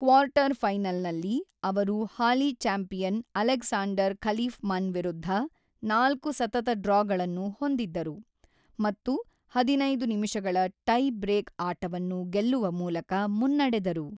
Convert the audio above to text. ಕ್ವಾರ್ಟರ್‌ಫೈನಲ್‌ನಲ್ಲಿ, ಅವರು ಹಾಲಿ champion Alexander Khalifman ವಿರುದ್ಧ ನಾಲ್ಕು ಸತತ ಡ್ರಾಗಳನ್ನು ಹೊಂದಿದ್ದರು ಮತ್ತು ಹದಿನೈದು ನಿಮಿಷಗಳ ಟೈಬ್ರೇಕ್ ಆಟವನ್ನು ಗೆಲ್ಲುವ ಮೂಲಕ ಮುನ್ನಡೆದರು.